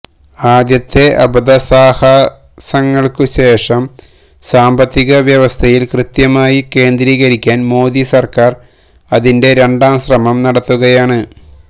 ആദ്യത്തെ അബദ്ധസാഹസങ്ങൾക്കുശേഷം സാമ്പത്തിക വ്യവസ്ഥയിൽ കൃത്യമായി കേന്ദ്രീകരിക്കാൻ മോദി സർക്കാർ അതിന്റെ രണ്ടാംശ്രമം നടത്തുകയാണ്